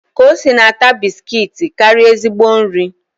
Kosi na-ata bisikiiti karịa ezigbo nri